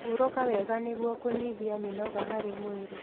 Huruka wega nĩguo kunyihia mĩnoga harĩ mwĩrĩ